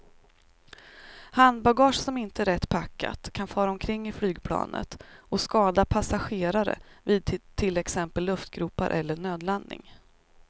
Handbagage som inte är rätt packat kan fara omkring i flygplanet och skada passagerare vid till exempel luftgropar eller nödlandning.